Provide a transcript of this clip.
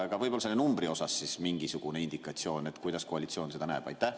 Aga võib-olla selle numbri kohta mingisugune indikatsioon, et kuidas koalitsioon seda näeb?